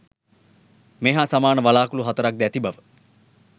මේ හා සමාන වළාකුළු හතරක් ද ඇති බව